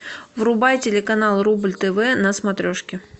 врубай телеканал рубль тв на смотрешке